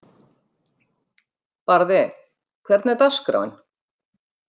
Barði, hvernig er dagskráin?